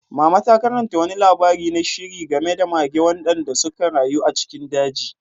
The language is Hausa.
Mama ta karanta wani labari na sihiri game da mage waɗanda suka rayu a cikin daji.